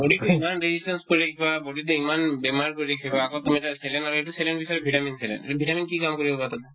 body তো ইমান বেছি resistance কৰি থাকিবা body তোয়ে ইমান বেমাৰ কৰি ৰাখিবা আকৌ তুমি তাতে saline মাৰি এইটো saline বিষয় vitamin saline আৰু vitamin কি কামত আহিব পাৰে তোমাৰ